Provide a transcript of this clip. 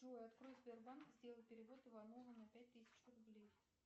джой открой сбербанк и сделай перевод иванову на пять тысяч рублей